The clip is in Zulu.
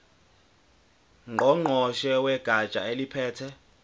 ngqongqoshe wegatsha eliphethe